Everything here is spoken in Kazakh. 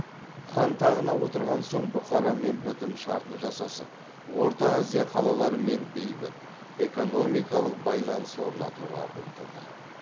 хан тағына отырған соң бұхарамен бітім шартын жасасып орта азия қалаларымен бейбіт экономикалық байланыс орнатуға ұмтылды